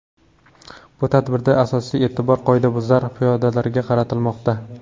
Bu tadbirda asosiy e’tibor qoidabuzar piyodalarga qaratilmoqda.